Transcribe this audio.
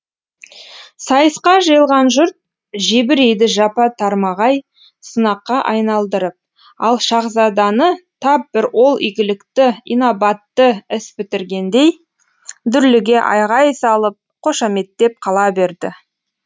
сайысқа жиылған жұрт жебірейді жапа тармағай сынаққа айналдырып ал шаһзаданы тап бір ол игілікті инабатты іс бітіргендей дүрліге айғай салып қошаметтеп қала берді